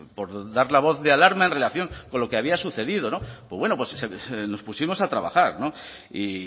por dar la voz de alarma en relación con lo que había sucedido pues bueno nos pusimos a trabajar y